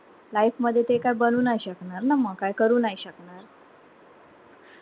Life मध्ये ते काय बनू नाय शकणार ना म काय करू नाय शकणार